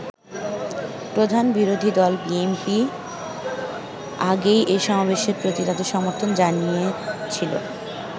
প্রধান বিরোধী দল বিএনপি আগেই এই সমাবেশের প্রতি তাদের সমর্থন জানিয়েছিল।